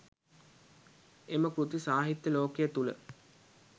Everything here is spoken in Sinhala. එම කෘති සාහිත්‍ය ලෝකය තුළ